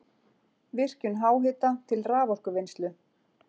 Virkjun háhita til raforkuvinnslu